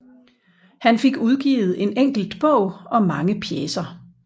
Han fik udgivet en enkelt bog og mange pjecer